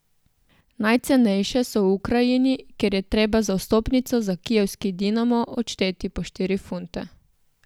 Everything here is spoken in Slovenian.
Najcenejše so v Ukrajini, kjer je treba za vstopnico za kijevski Dinamo odšteti po štiri funte.